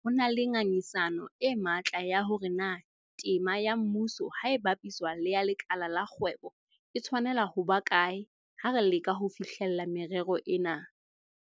ho na le ngangisano e matla ya hore na tema ya mmuso ha e bapiswa le ya lekala la kgwebo e tshwanela ho ba kae ha re leka ho fihlella merero ena.